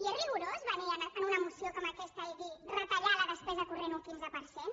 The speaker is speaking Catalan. i és rigorós venir amb una moció com aquesta i dir retallar la despesa corrent un quinze per cent